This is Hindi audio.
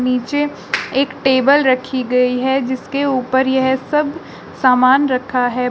नीचे एक टेबल रखी गई है जिसके ऊपर यह सब सामान रखा है।